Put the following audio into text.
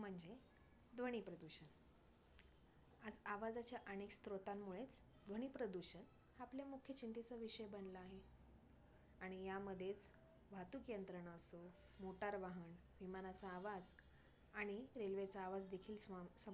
आवाजाच्या अनेक स्त्रोतांमुळे ध्वनी प्रदूषण आपल्या मुख्य चिंतेचा विषय बनला आहे. आणि या मध्येच वाहतूक यंत्रणांसह motor वाहन, विमानांचा आवाज आणि railway चा आवाज देखील सम सम~